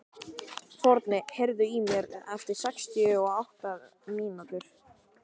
Forni, heyrðu í mér eftir sextíu og átta mínútur.